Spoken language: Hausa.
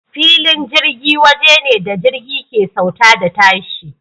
Filin jirgi waje ne da jirgi ke sauka da tashi.